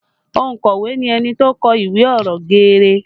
Ònkọ̀wé ni ẹni tó kọ ìwé ọ̀rọ̀ geere